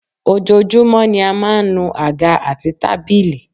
Ojoojúmọ́ ni a máa ń nu àga àti tábìlì